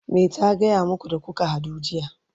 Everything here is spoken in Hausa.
me ta gaya maku da kuka hadu jiya?